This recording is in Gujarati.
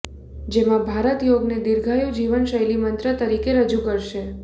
જેમાં ભારત યોગને દિર્ધઆયુ જીવન શૈલી મંત્ર તરીકે રજૂ કરશે